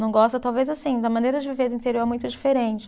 Não gosta, talvez, assim, da maneira de viver do interior é muito diferente.